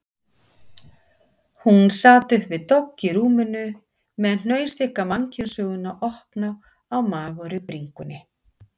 Hún sat uppi við dogg í rúminu með hnausþykka mannkynssöguna opna á magurri bringunni.